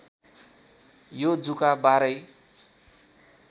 यो जुका बाह्रै